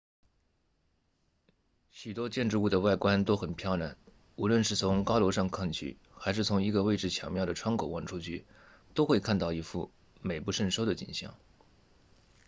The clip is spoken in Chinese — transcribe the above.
许多建筑物的外观都很漂亮无论是从高楼上看去还是从一个位置巧妙的窗口望出去都会看到一幅美不胜收的景象